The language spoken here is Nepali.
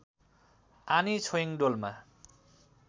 आनी छोइङ डोल्मा